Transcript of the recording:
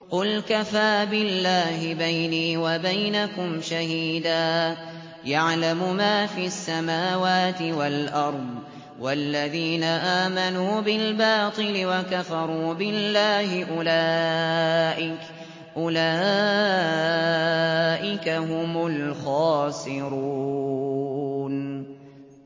قُلْ كَفَىٰ بِاللَّهِ بَيْنِي وَبَيْنَكُمْ شَهِيدًا ۖ يَعْلَمُ مَا فِي السَّمَاوَاتِ وَالْأَرْضِ ۗ وَالَّذِينَ آمَنُوا بِالْبَاطِلِ وَكَفَرُوا بِاللَّهِ أُولَٰئِكَ هُمُ الْخَاسِرُونَ